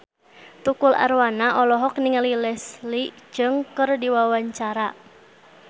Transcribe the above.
Tukul Arwana olohok ningali Leslie Cheung keur diwawancara